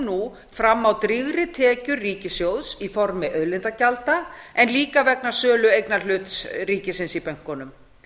nú fram á drýgri tekjur ríkissjóðs í formi auðlindagjalda en líka vegna sölu eignarhlutar ríkisins í bönkunum